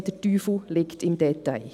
Der Teufel steckt im Detail.